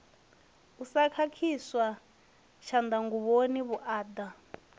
u sa khakhiswa tshanḓanguvhoni vhuaḓa